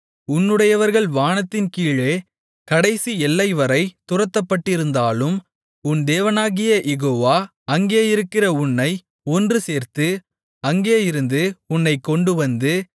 உன்னுடையவர்கள் வானத்தின்கீழே கடைசி எல்லைவரை துரத்தப்பட்டிருந்தாலும் உன் தேவனாகிய யெகோவா அங்கே இருக்கிற உன்னை ஒன்றுசேர்த்து அங்கேயிருந்து உன்னைக் கொண்டுவந்து